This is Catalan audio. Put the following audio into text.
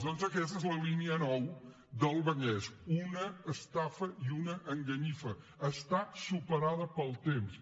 doncs aquesta és la línia nou del vallès una estafa i una enganyifa està superada pel temps